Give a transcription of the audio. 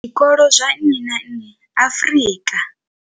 Zwikolo zwa nnyi na nnyi Afrika.